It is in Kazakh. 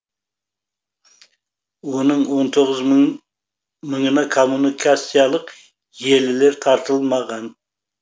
оның он тоғыз мыңына коммуникациялық желілер тартылмаған